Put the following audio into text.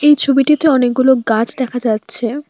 এই ছবিটিতে অনেকগুলো গাছ দেখা যাচ্ছে।